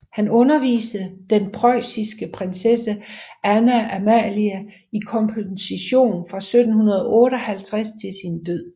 Han underviste den preussiske prinssesse Anna Amalia i komposition fra 1758 til sin død